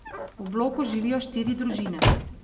V bloku živijo štiri družine.